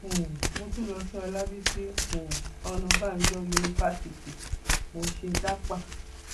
um mo tún lọ sí ọlábiṣí um ọnàbànjọ yunifásitì mo ṣe dápà